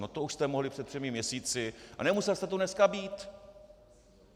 No to už jste mohli před třemi měsíci a nemusel jste tu dneska být!